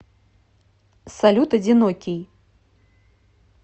салют одинокий